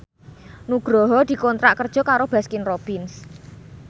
Nugroho dikontrak kerja karo Baskin Robbins